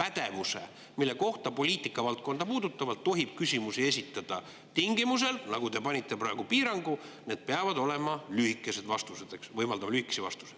pädevuse, mille kohta poliitika valdkonda puudutavalt tohib küsimusi esitada, tingimusel, nagu te panite praegu piirangu, et vastused peavad olema lühikesed, eks, võimaldama lühikesi vastuseid.